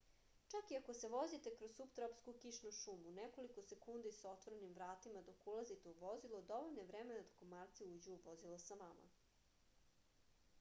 čak i ako se vozite kroz suptropsku kišnu šumu nekoliko sekundi sa otvorenim vratima dok ulazite u vozilo dovoljno je vremena da komarci uđu u vozilo sa vama